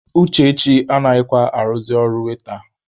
Uchechi anaghịkwa arụzị ọrụ waita.